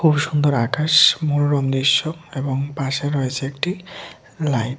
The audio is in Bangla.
খুব সুন্দর আকাশ মনোরম দৃশ্য এবং পাশে রয়েছে একটি লাইট ।